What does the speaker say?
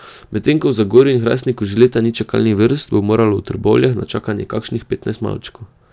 Medtem ko v Zagorju in Hrastniku že leta ni čakalnih vrst, bo moralo v Trbovljah na čakanje kakšnih petnajst malčkov.